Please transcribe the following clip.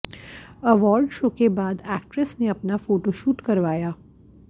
award show के बाद actress ने अपना फोटोशूट करवाया